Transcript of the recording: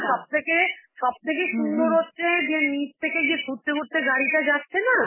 সব থেকে~ সব থেকে সুন্দর হচ্ছে যে নিচ থেকে যে ঘুরতে ঘুরতে গাড়িটা যাচ্ছে না,